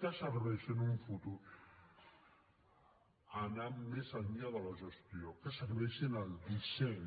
que serveixi en un futur que vagi més enllà de la gestió que serveixi en el disseny